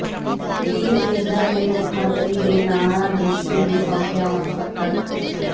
ਬੀਰਦਵਿੰਦਰ ਨੇ ਮੁੱਖ ਮੰਤਰੀ ਦੇ ਨਾਂ ਡੀਸੀ ਨੂੰ ਸੌਂਪਿਆ ਮੰਗ ਪੱਤਰ